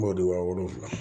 B'o de wa wolonwula